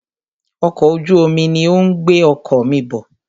Ọkọ̀ ojú omi ní o ń gbé ọkọ̀ mí bọ̀.